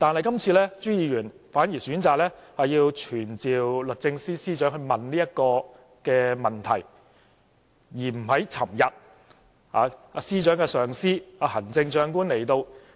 然而，朱議員今次反而選擇傳召律政司司長來詢問這個問題，而不在昨天司長的上司，即行政長官來到立法會時發問。